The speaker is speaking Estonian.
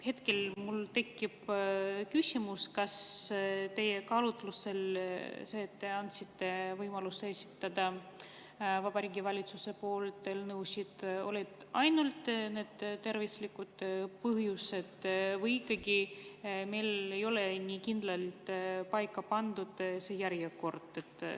Hetkel mul tekib küsimus, kas teie kaalutlus selle puhul, et te andsite võimaluse esitada Vabariigi Valitsuse poolt eelnõusid, lähtus ainult tervisest või ei ole meil ikkagi nii kindlalt paika pandud see järjekord.